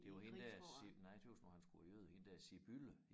Det var hende der nej jeg tøs nu han skulle være jøde hende der Sibylle